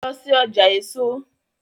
Lọ sí ọjà èso!